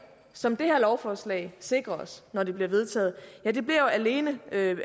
som det her lovforslag sikrer os når det bliver vedtaget bliver jo alene